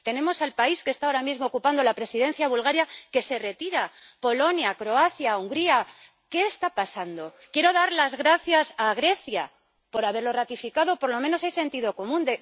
Tenemos al país que está ahora mismo ocupando la Presidencia, Bulgaria, que se retira Polonia, Croacia, Hungría, ¿qué está pasando? Quiero dar las gracias a Grecia por haberlo ratificado, por lo menos hay algo de sentido común.